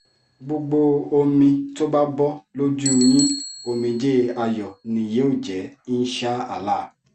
gbogbo omi tó bá bọ́ lójú yín omijé ayọ̀ ni yóò jẹ́ insha allah